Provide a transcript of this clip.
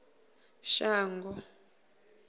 shango